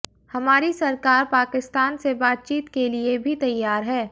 हमारी सरकार पाकिस्तान से बातचीत के लिए भी तैयार है